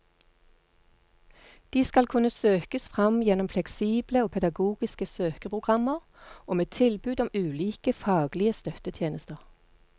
De skal kunne søkes fram gjennom fleksible og pedagogiske søkeprogrammer og med tilbud om ulike faglige støttetjenester.